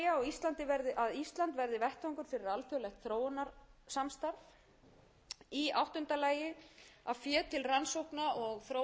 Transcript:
sjöunda lagi að ísland verði vettvangur fyrir alþjóðlegt þróunarsamstarf í áttunda lagi að fé til rannsókna og þróunaverkefna